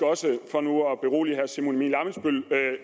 også for nu at berolige herre simon emil ammitzbøll